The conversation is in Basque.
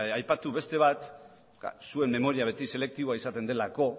aipatu beste bat zuen memoria beti selektiboa izaten delako